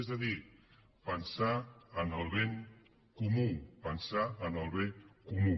és a dir pensar en el bé comú pensar en el bé comú